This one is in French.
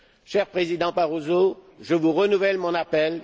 Cher Président Barroso, je vous renouvelle mon appel.